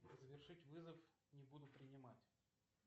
завершить вызов не буду принимать